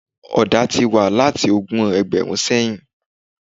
Ọ̀dà tí wànláti ogún ẹgbẹ̀rún sẹ́yìn.